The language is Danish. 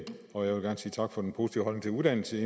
og jeg vil gang sige tak for den positive holdning til uddannelse